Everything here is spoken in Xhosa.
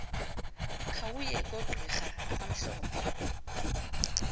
khawuye kogqira abamhlophe